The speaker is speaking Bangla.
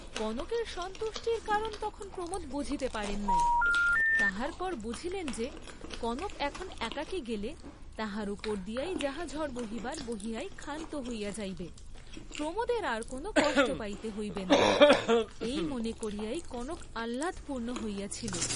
কনকের সন্তুষ্টির কারণ তখন প্রমোদ বুঝিতে পারেন নাই, তাহার পর বুঝিলেন যে কনক এখন একাকী গেলে, তাহার উপর দিয়াই যাহা ঝড় বহিবার বহিয়াই ক্ষান্ত হইয়া যাইবে, প্রমোদের আর কোন কষ্ট পাইতে হইবে না, এই মনে করিয়াই কনক আহ্লাদপূর্ণ হইয়াছিল।